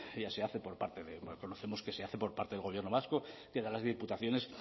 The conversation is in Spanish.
ya se hace conocemos que se hace por parte del gobierno vasco de las diputaciones